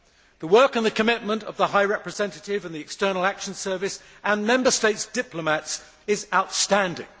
The work and the commitment of the High Representative and the External Action Service and Member States' diplomats are outstanding.